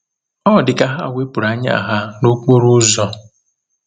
Ọ dị ka ha wepụrụ anya ha n’okporo ụzọ.